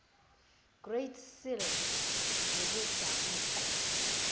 great seal ngokwedabuko